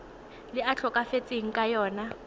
le a tlhokafetseng ka lona